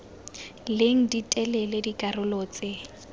leng di telele dikarolo tse